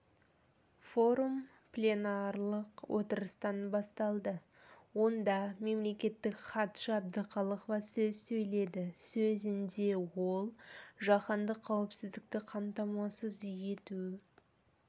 форум пленарлық отырыстан басталды онда мемлекеттік хатшы әбдіқалықова сөз сөйледі сөзінде ол жаһандық қауіпсіздікті қамтамасыз ету